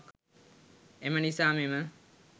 එම නිසා මෙම